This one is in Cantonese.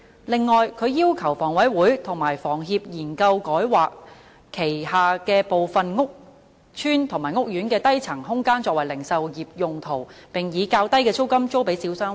此外，他要求香港房屋委員會和香港房屋協會研究改劃其轄下部分屋邨及屋苑的低層空間作零售業用途，並以較低的租金租予小商戶。